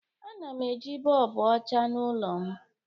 Ana m eji bọlbụ ọcha n'ụlọ m